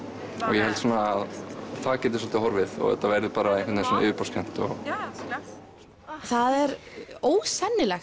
ég held að það geti svolítið horfið og þetta verði bara yfirborðskennt það er ósennilegt